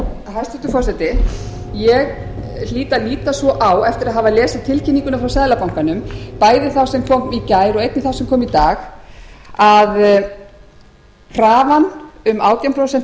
hæstvirtur forseti ég hlýt að líta svo á eftir að hafa lesið tilkynninguna frá seðlabankanum bæði þá sem kom í gær og einnig þá sem kom í dag að krafan um átján prósent